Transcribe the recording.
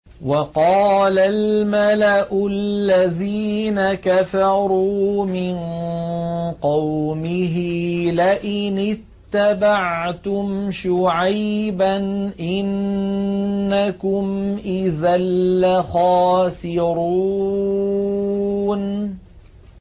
وَقَالَ الْمَلَأُ الَّذِينَ كَفَرُوا مِن قَوْمِهِ لَئِنِ اتَّبَعْتُمْ شُعَيْبًا إِنَّكُمْ إِذًا لَّخَاسِرُونَ